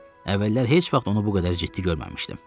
Əvvəllər heç vaxt onu bu qədər ciddi görməmişdim.